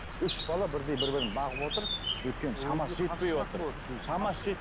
үш бала бірдей бір бірін бағып отыр өйткені шамасы жетпей отыр шамасы